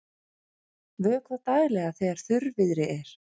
Vökvað daglega þegar þurrviðri er.